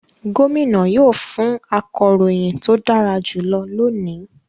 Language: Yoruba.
Gómìnà yóò fún akọ̀ròyìn tó dára jùlọ lónìí